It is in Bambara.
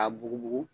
A bugubugu